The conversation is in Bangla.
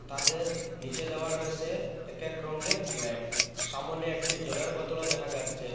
ছাদের নিচে দেওয়া রয়েছে এক এক রঙের ফ্ল্যাট সামোনে একটি জলের বোতলও দেখা যাচ্ছে।